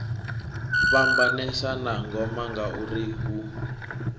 fhambanesa na ngoma ngauri hu